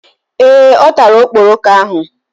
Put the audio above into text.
Ee, ọ tara okporoko ahụ